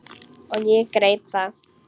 Og ég greip það.